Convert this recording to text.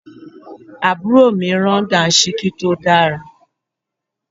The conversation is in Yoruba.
Àbúrò mi rán Dàńṣíkí tó dára